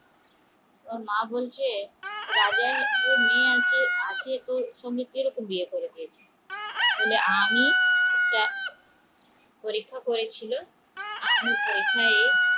মা বলছে রাজার মেয়ে আছে তো তুমি কি করে বিয়ে করেছো আমি পরীক্ষা করছিলো পরীক্ষায়